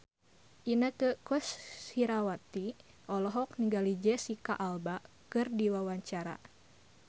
Inneke Koesherawati olohok ningali Jesicca Alba keur diwawancara